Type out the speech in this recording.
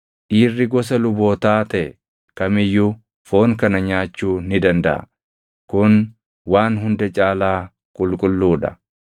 Dhiirri gosa lubootaa taʼe kam iyyuu foon kana nyaachuu ni dandaʼa; kun waan hunda caalaa qulqulluu dha.